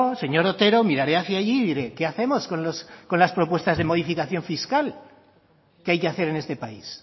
señor otero miraré hacia allí y diré qué hacemos con las propuestas de modificación fiscal qué hay que hacer en este país